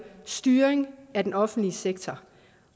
styring af den offentlige sektor